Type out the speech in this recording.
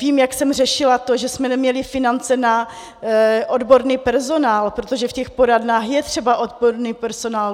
Vím, jak jsem řešila to, že jsme neměli finance na odborný personál, protože v těch poradnách je třeba odborný personál.